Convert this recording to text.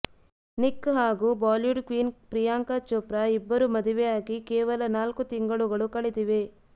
Nick ಹಾಗೂ Bollywood queen Priyanka Chopra ಇಬ್ಬರು ಮದುವೆಯಾಗಿ ಕೇವಲ ನಾಲ್ಕು ತಿಂಗಳುಗಳು ಕಳೆದಿವೆ